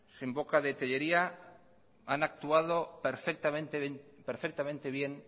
en boca de tellería han actuado perfectamente bien